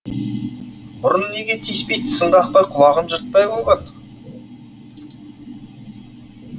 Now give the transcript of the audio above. бұрын неге тиіспей тісін қақпай құлағын жыртпай қойған